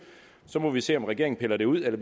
så må vi se om regeringen piller det ud eller